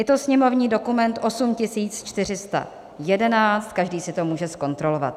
Je to sněmovní dokument 8411, každý si to může zkontrolovat.